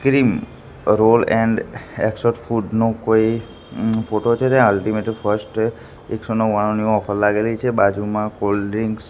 cream roll and exotic food નું કોઈ photo છે ત્યાં અલ્ટીમેટ ફર્સ્ટ એકસો નવ્વાણુંની ઓફર લાગેલી છે બાજુમાં કોલ્ડ્રિંક્સ